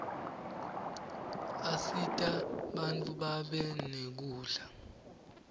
asita bantfu babe nekudla